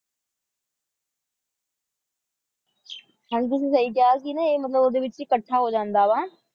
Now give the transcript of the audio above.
ਹਾਂ ਜੀ ਤੁਸੀਂ ਸਹੀ ਕਿਹਾ ਕਿ ਇਹ ਨਾ ਮਤਲਬ ਓਹਦੇ ਵਿੱਚ ਹੀ ਇੱਕਠਾ ਹੋ ਜਾਂਦਾ ਵਾ